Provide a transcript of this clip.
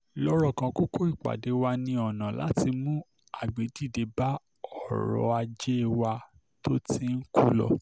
lọ́rọ̀ kan kókó ìpàdé wa ni ọ̀nà láti mú agbẹ̀dìde bá ọ̀rọ̀ ajé wa tó ti ń kú lọ